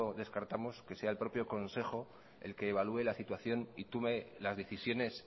descartamos que sea el propio consejo el que evalúe la situación y tome las decisiones